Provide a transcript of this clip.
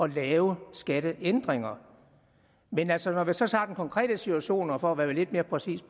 lave skatteændringer men altså når vi så tager den konkrete situation vil jeg bare for at være lidt mere præcis